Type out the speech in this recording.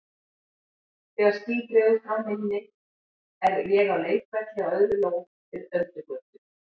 Þegar ský dregur frá minni er ég á leikvelli á auðri lóð við Öldugötu.